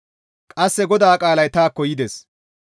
Qasse GODAA qaalay taakko yides;